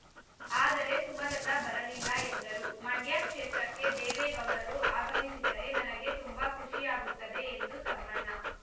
ಆದರೆ ಸುಮಲತಾ ಬರಲಿಲ್ಲ ಎಂದರು ಮಂಡ್ಯ ಕ್ಷೇತ್ರಕ್ಕೆ ದೇವೇಗೌಡರು ಆಗಮಿಸಿದರೆ ನನಗೆ ತುಂಬಾ ಖುಷಿಯಾಗುತ್ತದೆ ಎಂದ ತಮ್ಮಣ್ಣ